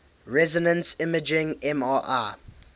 resonance imaging mri